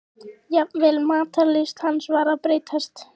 Jafnvel matarlyst hans var að breytast.